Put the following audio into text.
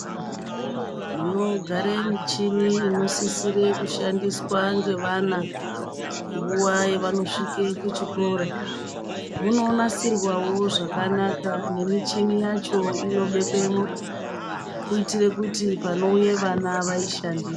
Munogare michini unosisire kushandiswa ngavana nguva yevanosvike kuchikora. Munonasirwawo zvakanaka nemichini yacho inobekwemo kuitira kuti panouye vana vanoishandise.